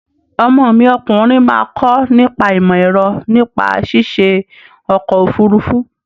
Ọmọ mi ọkùnrin máa kọ nípa ìmọ-ẹ̀rọ nípa ṣiṣe ọkọ-òfurufú.